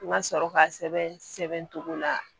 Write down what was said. N ka sɔrɔ ka sɛbɛn sɛbɛn togo la